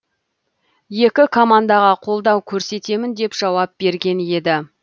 екі командаға қолдау көрсетемін деп жауап берген еді